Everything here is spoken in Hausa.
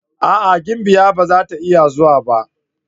A'a! gimbiya ba zata iya zuwa ba.